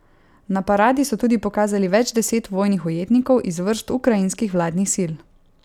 Na paradi so tudi pokazali več deset vojnih ujetnikov iz vrst ukrajinskih vladnih sil.